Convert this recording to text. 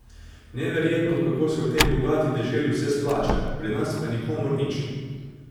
Neverjetno, kako se v tej bogati deželi vse splača, pri nas pa nikomur nič.